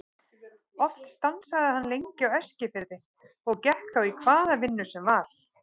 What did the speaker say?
Oft stansaði hann lengi á Eskifirði og gekk þá í hvaða vinnu sem var.